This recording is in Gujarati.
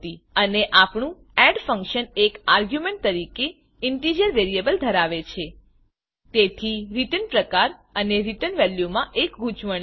અને આપણું addએડ ફંક્શન એક આર્ગ્યુંમેંટ તરીકે ઇન્ટિજર ઇનટીજર વેરીએબલ ધરાવે છે તેથી રીટર્ન પ્રકાર અને રીટર્ન વેલ્યુમાં એક ગુંચવણ છે